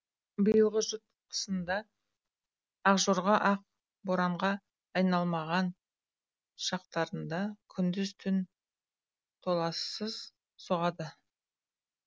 биылғы жұт қысында ақжорға ақ боранға айналмаған шақтарында күндіз түн толассыз соғады